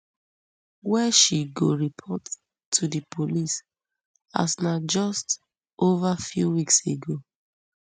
wey she go report to di police as na just over five weeks ago